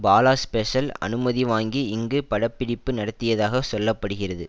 Bala special அனுமதி வாங்கி இங்கு படப்பிடிப்பு நடத்தியதாக சொல்ல படுகிறது